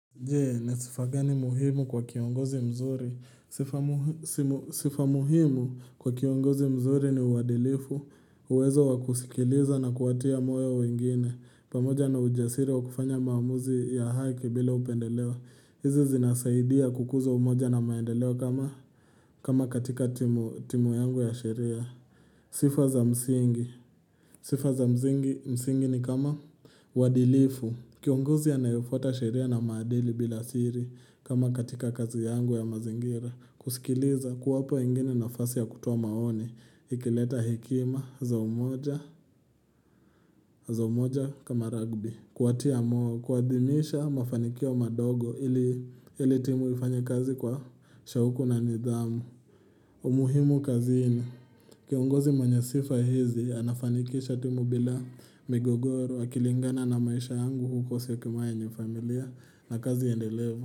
Je, ni sifa gani muhimu kwa kiongozi mzuri. Sifa muhimu kwa kiongozi mzuri ni uadilifu. Uwezo wakusikiliza na kuwatia moyo wengine. Pamoja na ujasiri wa kufanya maamuzi ya haki bila upendeleo. Hizi zinasaidia kukuza umoja na maendeleo kama katika timu yangu ya sheria. Sifa za msingi. Sifa za msingi ni kama uadilifu. Kiongozi anayefuata sheria na maadili bila siri kama katika kazi yangu ya mazingira. Kusikiliza kuwapa wengine nafasi ya kutoa maoni. Ikileta hekima za umoja kama rugby. Kuwatia moyo, kuadhimisha mafanikio madogo ili timu ifanye kazi kwa shauku na nidhamu. Umuhimu kazini, kiongozi mwenye sifa hizi, anafanikisha timu bila migogoro akilingana na maisha yangu huko syokimayu yenye familia na kazi endelevo.